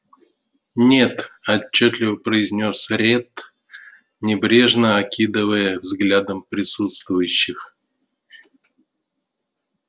нет отчётливо произнёс ретт небрежно окидывая взглядом присутствующих